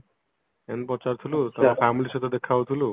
ଏମତି ପଚାରୁଥିଲୁ ତ family ସହିତ ଦେଖା ହଉଥିଲୁ